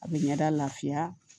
A bɛ ɲɛda lafiya